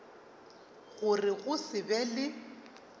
gore go se be le